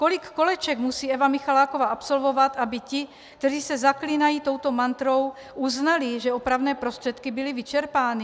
Kolik koleček musí Eva Michaláková absolvovat, aby ti, kteří se zaklínají touto mantrou, uznali, že opravné prostředky byly vyčerpány?